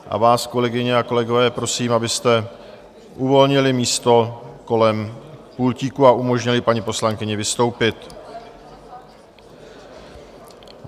A vás, kolegyně a kolegové, prosím, abyste uvolnili místo kolem pultíku a umožnili paní poslankyni vystoupit.